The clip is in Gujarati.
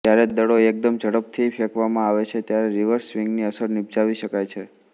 જ્યારે દડો એકદમ ઝડપથી ફેંકવામાં આવે છે ત્યારે રિવર્સ સ્વિંગની અસર નિપજાવી શકાય છે